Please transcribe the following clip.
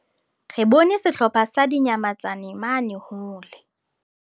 re bone sehlopha sa dinyamatsane mane hole